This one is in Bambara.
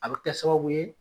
A bɛ kɛ sababu ye.